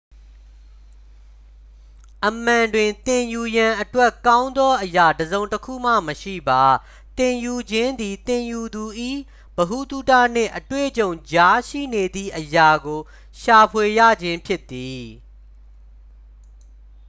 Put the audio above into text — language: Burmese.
အမှန်တွင် သင်ယူရန်အတွက် ကောင်းသောအရာ တစ်စုံတစ်ခုမှ မရှိပါ သင်ယူခြင်းသည် သင်ယူသူ၏ ဗဟုသုတနှင့် အတွေ့အကြုံကြားရှိနေသည့် အရာကို ရှာဖွေရခြင်းဖြစ်သည်